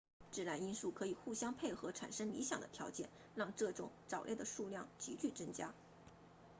自然因素可以互相配合产生理想的条件让这种藻类的数量急剧增加